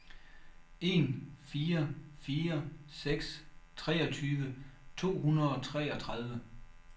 en fire fire seks treogtyve to hundrede og treogtredive